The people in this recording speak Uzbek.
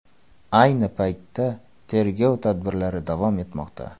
Ayni paytda tergov tadbirlari davom etmoqda.